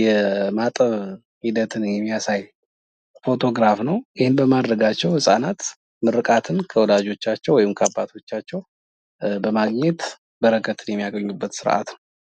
የማጠብ ሂደትን የሚያሳይ ፎቶ ግራፍ ነው። ይኸን በማድረጋቸው ህፃናት ምርቃትን ከወላጆቻቸው ወይም ከአባቶቻቸው በረከትን የሚያገኙበት ስርዓት ነው።